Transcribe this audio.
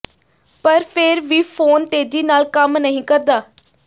ਪਰ ਫਿਰ ਵੀ ਫੋਨ ਤੇਜ਼ੀ ਨਾਲ ਕੰਮ ਨਹੀਂ ਕਰਦਾ